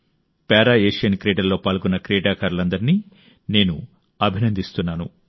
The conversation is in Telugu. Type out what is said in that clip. పారా ఏషియన్ క్రీడల్లో పాల్గొంటున్న క్రీడాకారులందరినీ నేను అభినందిస్తున్నాను